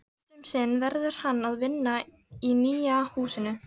Fyrst um sinn verður hann að vinna í nýja húsinu.